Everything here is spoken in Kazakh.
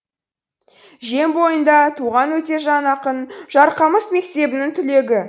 жем бойында туған өтежан ақын жарқамыс мектебінің түлегі